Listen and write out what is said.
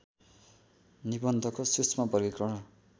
निबन्धको सूक्ष्म वर्गीकरण